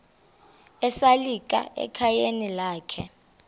esalika ekhayeni lakhe